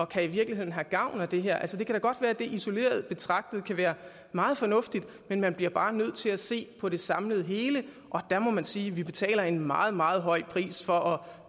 kan i virkeligheden have gavn af det her altså det kan da godt være at det isoleret betragtet kan være meget fornuftigt men man bliver bare nødt til at se på det samlede hele og der må man sige at vi betaler en meget meget høj pris for